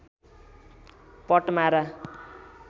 पट्मारा